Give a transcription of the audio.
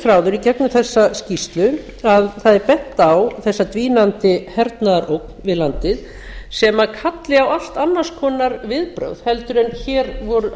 þráður í gegnum þessa skýrslu að það er bent á þessa dvínandi hernaðarógn við landið sem kalli á allt annars konar viðbrögð heldur en hér